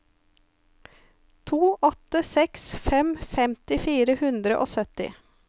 to åtte seks fem femti fire hundre og sytti